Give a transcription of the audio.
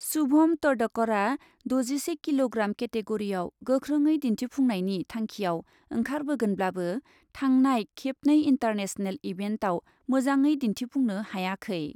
शुभम तडकरआ द'जिसे किल'ग्राम केटेगरिआव गोख्रोङै दिन्थिफुंनायनि थांखिआव ओंखारगोनब्लाबो थांनाय खेबनै इन्टारनेशनेल इभेन्टआव मोजाङै दिन्थिफुंनो हायाखै।